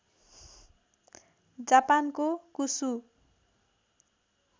जापानको कुसु